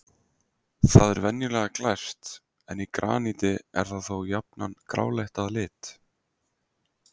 Það er venjulega glært en í graníti er það þó jafnan gráleitt að lit.